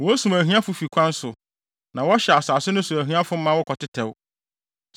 Wosum ahiafo fi kwan so na wɔhyɛ asase no so ahiafo ma wɔkɔtetɛw.